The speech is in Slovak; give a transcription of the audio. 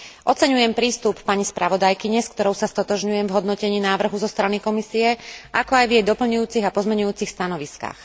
Oceňujem prístup pani spravodajkyne, s ktorou sa stotožňujem v hodnotení návrhu zo strany Komisie, ako aj v jej pozmeňujúcich a doplňujúcich stanoviskách.